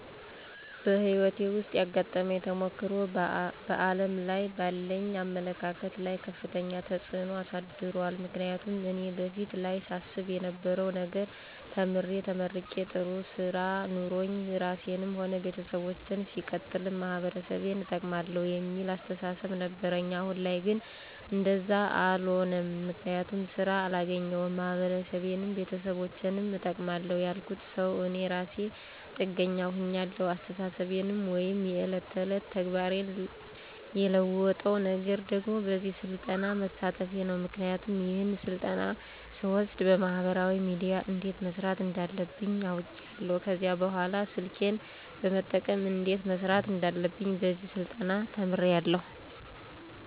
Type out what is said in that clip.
በህይወቴ ዉስጥ ያጋጠመኝ ተሞክሮ በዓለም ላይ ባለኝ አመለካከት ላይ ከፍተኛ ተጽዕኖ አሳድሯል ምክንያቱም እኔ በፊት ላይ ሳስብ የነበረዉ ነገር ተምሬ ተመርቄ ጥሩ ስራ ኖሮኝ ራሴንም ሆነ ቤተሰቦቸን ሲቀጥልም ማህበረሰቤን እጠቅማለዉ የሚል አስተሳሰብ ነበረኝ አሁን ላይ ግን እንደዛ አሎነም ምክንያቱም ስራ አላገኘዉም ማህበረሰቤንም ቤተሰቦቸንም እጠቅማለዉ ያልኩት ሰዉ እኔ እራሴ ጥገኛ ሁኛለዉ አስተሳሰቤን ወይም የዕለት ተዕለት ተግባሬን የለወጠዉ ነገር ደግሞ በዚህ ስልጠና መሳተፌ ነዉ ምክንያቱም ይሄን ስልጠና ስወስድ በማህበራዊ ሚድያ እንዴት መስራት እንዳለብኝ አዉቄያለዉ ከዚህ በኅላ ስልኬን በመጠቀም እንዴት መስራት እንዳለብኝ በዚህ ስልጠና ተምሬያለዉ